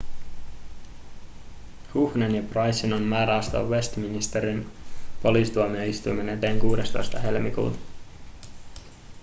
huhnen ja prycen on määrä astua westminsterin poliisituomioistuimen eteen 16 helmikuuta